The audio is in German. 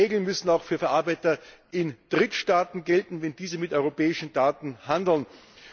Die Regeln müssen auch für Verarbeiter in Drittstaaten gelten, wenn diese mit europäischen Daten umgehen.